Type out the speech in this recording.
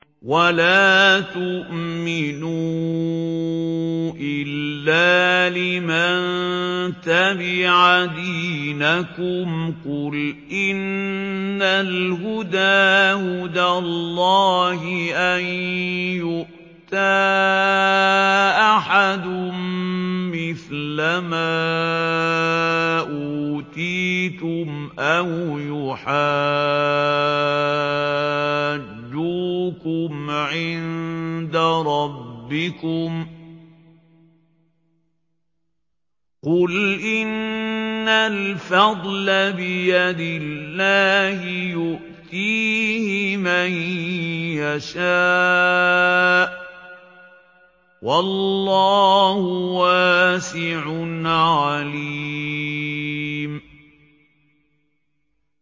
وَلَا تُؤْمِنُوا إِلَّا لِمَن تَبِعَ دِينَكُمْ قُلْ إِنَّ الْهُدَىٰ هُدَى اللَّهِ أَن يُؤْتَىٰ أَحَدٌ مِّثْلَ مَا أُوتِيتُمْ أَوْ يُحَاجُّوكُمْ عِندَ رَبِّكُمْ ۗ قُلْ إِنَّ الْفَضْلَ بِيَدِ اللَّهِ يُؤْتِيهِ مَن يَشَاءُ ۗ وَاللَّهُ وَاسِعٌ عَلِيمٌ